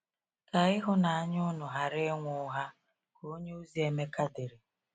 “Ka ịhụnanya unu ghara inwe ụgha,” ka onyeozi Emeka dere.